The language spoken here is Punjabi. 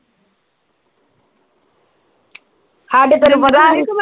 ਸਾਡੇ ਤੈਨੂੰ ਪਤਾ ਵੀ ਆ ਕੀ ਮੈਂ